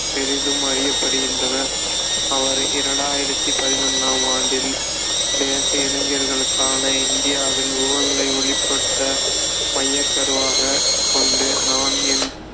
பெரிதும் அறியப்படுகின்றனர் அவர் இரண்டாயிரத்தி பதனொண்ணாம் ஆண்டில் தேச இளைஞர்களுக்கான இந்தியாவில் ஊழலை ஒழிப்பத மையக் கருவாகக் கொண்டு நான் என்